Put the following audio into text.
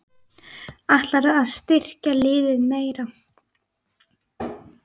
Ætlarðu að styrkja liðið meira?